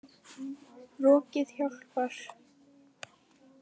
Rokið hjálpar.